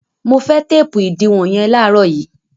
Mo fẹ́ téépù ìdiwọn yẹn láàárọ̀ yìí!